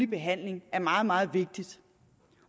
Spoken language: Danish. behandling er meget meget vigtigt